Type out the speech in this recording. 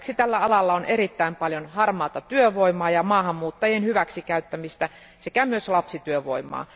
Lisäksi tällä alalla on erittäin paljon harmaata työvoimaa ja maahanmuuttajien hyväksikäyttämistä sekä myös lapsityövoimaa.